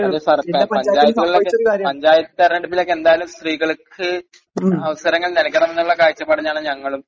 അല്ല സാർ, പഞ്ചായത്ത്കളിൽ..പഞ്ചായത്ത് തെരെഞ്ഞെടുപ്പിലൊക്കെ എന്തായാലും സ്ത്രീകൾക്ക് അവസരങ്ങൾ നൽകണം എന്നുള്ള കാഴ്ചപ്പാടിലാണ് ഞങ്ങളും.